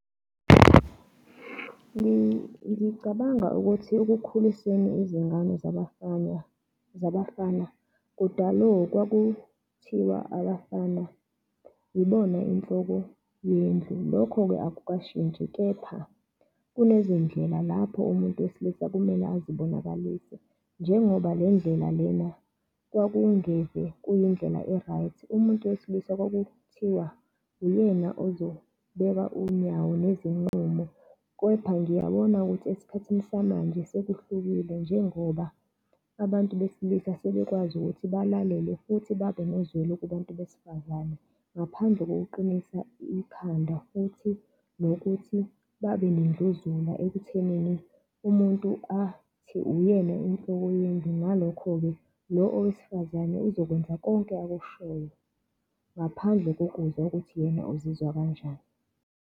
Ngicabanga ukuthi ekukhulisweni izingane zabafana, zabafana, kudale kwakuthiwa abafana yibona inhloko yendlu, lokho-ke akukashintshi kepha kunezindlela lapho umuntu wesilisa kumele azibonakalise. Njengoba le ndlela lena kwakungeve kuyindlela e-right. Umuntu wesilisa kwakuthiwa uyena ozobeka unyawo ngezinqumo, kepha ngiyabona ukuthi esikhathini samanje sekuhlukile njengoba abantu besilisa sebekwazi ukuthi balalele futhi babe nazwelo kubantu besifazane, ngaphandle kokuqinisa ikhanda, futhi nokuthi babe nendluzula ekuthenini umuntu athi uyena inhloko yendlu. Ngalokho-ke lo owesifazane uzokwenza konke akushoyo, ngaphandle kokuzwa ukuthi yena uzizwa kanjani.